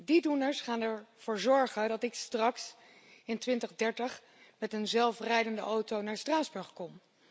Die doeners gaan ervoor zorgen dat ik straks in 2030 met een zelfrijdende auto naar Straatsburg kom.